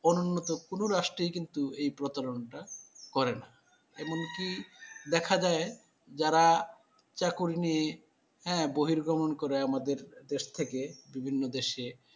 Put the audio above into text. অনুন্নত কোনো রাষ্ট্রেই কিন্তু এই প্রতারণটা করে না। এমনকি দেখা যায় যারা চাকুরি নিয়ে হ্যাঁ বহিরগমন করে আমাদের দেশ থেকে বিভিন্ন দেশে,